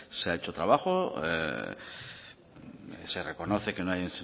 se ha hecho trabajo se reconoce que no hay